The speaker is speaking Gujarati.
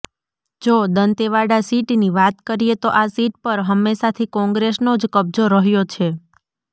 જો દંતેવાડા સીટની વાત કરીએ તો આ સીટ પર હંમેશાથી કોંગ્રેસનો જ કબ્જો રહ્યો છે